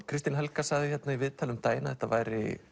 Kristín Helga sagði hérna í viðtali um daginn að þetta væri